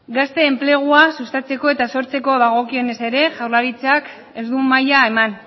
gazte enplegua sustatzeko eta sortzeko dagokionez ere jaurlaritzak ez du maila eman